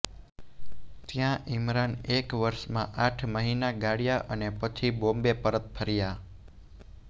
ત્યાં ઇમરાન એક વર્ષમાં આઠ મહિના ગાળ્યા અને પછી બોમ્બે પરત ફર્યા